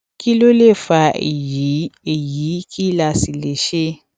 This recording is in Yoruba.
kí ló lè fa èyí èyí kí la sì lè ṣe